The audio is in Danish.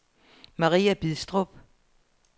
Maria Bidstrup